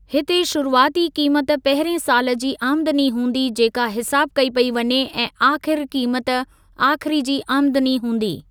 हिते शुरूआती क़ीमत पहिरिएं सालु जी आमदनी हूंदी जेका हिसाबु कई पेई वञे ऐं आख़िरी क़ीमत आख़िर जी आमदनी हूंदी।